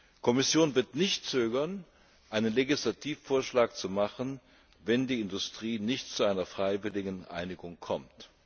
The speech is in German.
Die Kommission wird nicht zögern, einen Legislativvorschlag zu machen, wenn die Industrie nicht zu einer freiwilligen Einigung kommt.